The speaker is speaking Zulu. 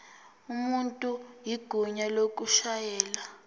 umuntu igunya lokushayela